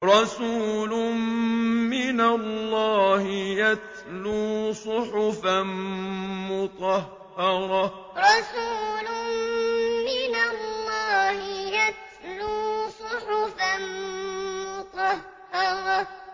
رَسُولٌ مِّنَ اللَّهِ يَتْلُو صُحُفًا مُّطَهَّرَةً رَسُولٌ مِّنَ اللَّهِ يَتْلُو صُحُفًا مُّطَهَّرَةً